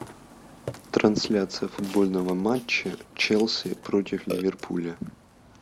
трансляция футбольного матча челси против ливерпуля